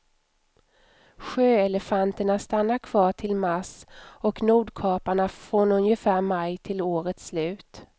Sjöelefanterna stannar kvar till mars och nordkaparna från ungefär maj till årets slut.